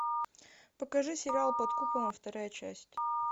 покажи сериал под куполом вторая часть